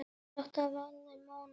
Ekki í bráð.